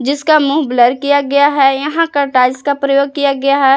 इसका मुंह ब्लर किया गया है यहां का टाइल्स का प्रयोग किया गया है।